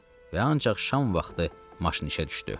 Və ancaq şam vaxtı maşın işə düşdü.